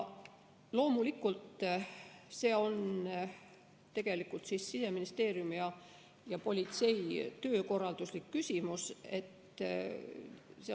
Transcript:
Loomulikult on see tegelikult Siseministeeriumi ja politsei töökorralduslik küsimus.